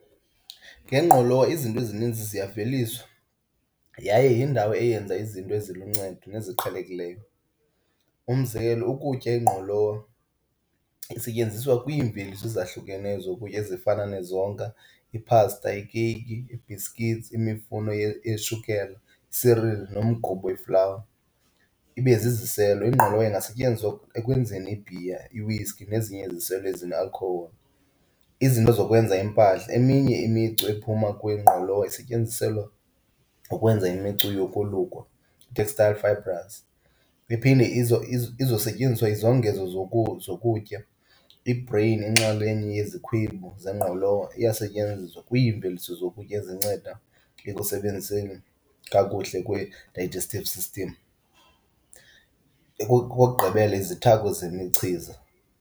Ngengqolowa izinto ezininzi ziyaveliswa yaye yindawo eyenza izinto eziluncedo neziqhelekileyo. Umzekelo ukutya, ingqolowa, isetyenziswa kwiimveliso ezahlukeneyo zokutya ezifana nezonka, iphasta, ikeyiki, iibhisikithi, imifuno yeshukela, i-cereal nomgubo weflawa. Ibe ziziselo, ingqolowa ingasetyenziswa ekwenzeni ibhiya, i-whiskey nezinye iziselo ezine-alcohol. Izinto zokwenza iimpahla, eminye imicu ephuma kwingqolowa isetyenziselwa ukwenza imicu yokolukwa, ii-textile fibres. Iphinde izosetyenziswa izongezo zokutya, i-bran, inxalenye yezikhwebu zengqolowa iyasetyenziswa kwiimveliso zokutya ezinceda ekusebenziseni kakuhle kwe-digestive system. Okokugqibela, izithako zemichiza.